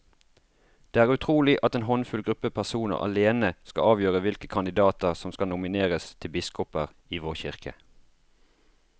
Det er utrolig at en håndfull gruppe personer alene skal avgjøre hvilke kandidater som skal nomineres til biskoper i vår kirke.